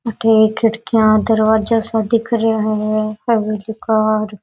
अठ एक खिड़कियां दरवाजा सा दिख रहा है हवेली कार --